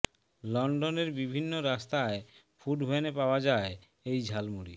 লন্ডনের বিভিন্ন রাস্তায় ফুড ভ্যানে পাওয়া যায় এই ঝালমুড়ি